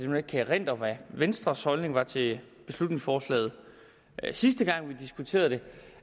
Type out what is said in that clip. nu ikke kan erindre hvad venstres holdning var til beslutningsforslaget sidste gang vi diskuterede det